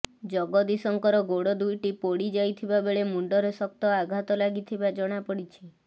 ଜଗଦିଶଙ୍କର ଗୋଡ ଦୁଇଟି ପୋଡି ଯାଇଥିବା ବେଳେ ମୁଣ୍ଡରେ ଶକ୍ତ ଆଘାତ ଲାଗିଥିବା ଜଣାପଡିଛି